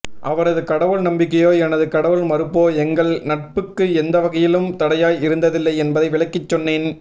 அவரது கடவுள் நம்பிக்கையோ எனது கடவுள் மறுப்போ எங்கள் நட்புக்கு எந்த வகையிலும் தடையாய் இருந்ததில்லை என்பதை விளக்கி சொன்னேன்